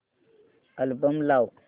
album लाव